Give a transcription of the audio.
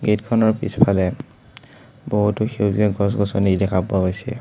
Gate খনৰ পিছফালে বহুতো সেউজীয়া গছ-গছনি দেখা পোৱা গৈছে।